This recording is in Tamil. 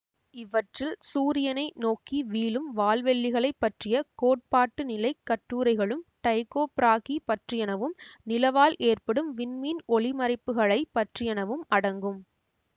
இவற்றில் சூரியனை நோக்கி வீழும் வால்வெள்ளிகளைப் பற்றிய கோட்பாட்டுநிலைக் கட்டுரைகளும் டைக்கொ பிராகி பற்றியனவும் நிலவால் ஏற்படும் விண்மீன்ஒளிமறைப்புகளைப் பற்றியனவும் அடங்கும்